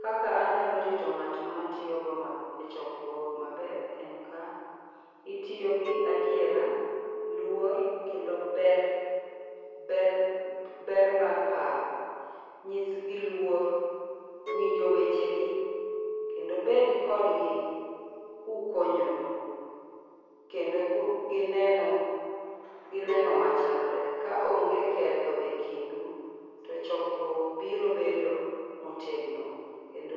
kaka anyalo rito ngat ma atiyogo maber, echokruok maber en ka itiyo gi adiera, luor kendo ber, ber, ber mar paro. Nyisgi luor, winjo wechegi kendo bed kodgi kukonyoru kendo ku, gi neno, gi neno machalre. Ka onge ketho ekindu to chokruok biro bedo motegno kendo